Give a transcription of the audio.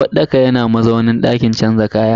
uwarɗaka yana mazaunin dakin canza kaya.